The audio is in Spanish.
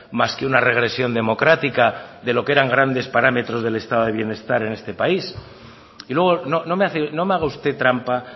más que una regresión democrática de lo que eran grandes parámetros del estado de bienestar en este país y luego no me haga usted trampa